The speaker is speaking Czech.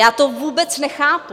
Já to vůbec nechápu.